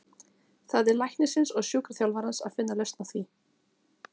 Það er læknisins og sjúkraþjálfarans að finna lausn á því.